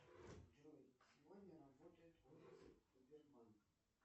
джой сегодня работают офисы сбербанк